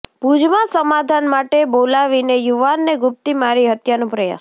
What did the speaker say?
ભુજમાં સમાધાન માટે બોલાવીને યુવાનને ગુપ્તી મારી હત્યાનો પ્રયાસ